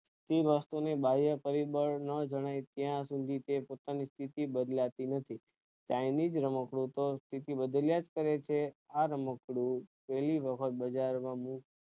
તે વસ્તુ ની બાહ્ય પરિબળ નો હોવો જોઈએ ત્યાં સુધી તે પોતાની સ્થિતી બદલાતી નથી ચાઈનીજ રમકડું તો સ્થિતિ બદલ્યા જ કરે છે આ રમકડુ